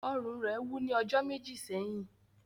Ọrùn ​​rẹ wú ni ọjọ meji sẹhin.